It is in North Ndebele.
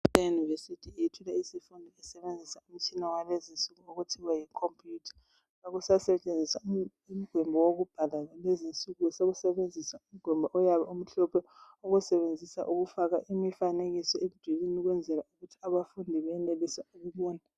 Ikilasi yeuniversity...Yethula isifundo isebenzisa Umtshina walezi insuku, okuthiwa yicomputer. Kakusasetshenziswa umgwembe wokubhala kulezi insuku. Sekusetshenziswa umgwembe oyabe umhlophe, owusebenzisa ukufaka imifanekiso. Ukwenzela ukuthi abafundi benelise ukubona.